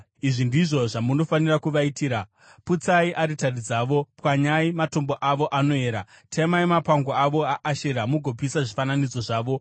Izvi ndizvo zvamunofanira kuvaitira: Putsai aritari dzavo, pwanyai matombo avo anoera, temai mapango avo aAshera mugopisa zvifananidzo zvavo.